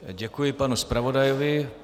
Děkuji panu zpravodajovi.